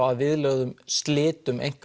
að viðlögðum slitum